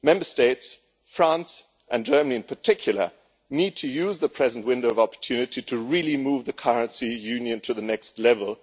Member States France and Germany in particular need to use the present window of opportunity to really move the currency union to the next level.